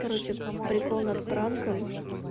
короче прикол над пранком